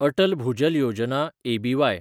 Atal Bhujal Yojana (एबीवाय)